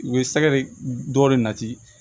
U bɛ sɛgɛ de dɔ de nati